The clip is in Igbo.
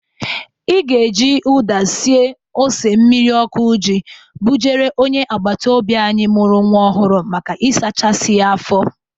Ị ga-eji ụda sie ose mmiri ọkụ ji bujere onye agbataobi anyị mụrụ nwa ọhụrụ maka ịsachasị ya afọ.